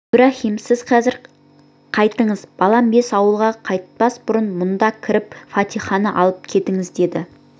ибраһим сіз хазір қайтыңыз балам бес ауылға қайтпас бұрын мұнда кіріп фатиханы алып кетіңіз деді